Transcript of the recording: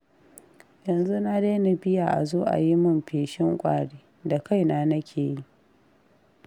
Yanzu na daina biya a zo a yi min feshin ƙwari, da kaina nake yi.